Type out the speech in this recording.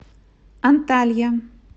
анталья